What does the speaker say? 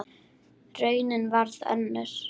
Raunin varð önnur.